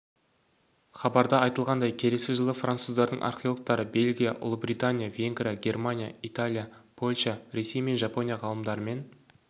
хабарда айтылғандай келесі жылы француздардың археологтары бельгия ұлыбритания венгрия германия италия польша ресей пен жапония ғалымдарымен